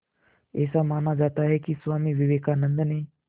ऐसा माना जाता है कि स्वामी विवेकानंद ने